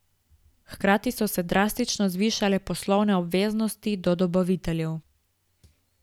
Hkrati so se drastično zvišale poslovne obveznosti do dobaviteljev.